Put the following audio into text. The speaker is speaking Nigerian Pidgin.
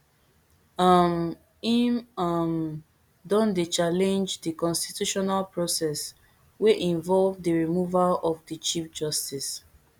um im um don dey challenge di constitutionalprocess wey involve di removal of di chief justice